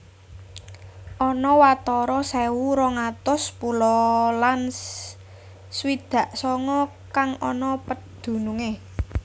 Ana watara sewu rong atus pulo lan swidak songo kang ana pedunungé